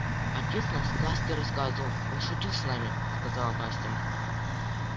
отец нам сказки рассказывал он шутил с нами сказала настя